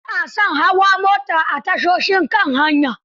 Ba a son hawa mota a tashoshin kan hanya.